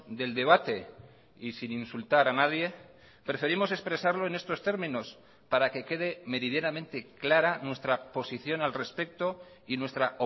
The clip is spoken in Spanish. del debate y sin insultar a nadie preferimos expresarlo en estos términos para que quede meridianamente clara nuestra posición al respecto y nuestra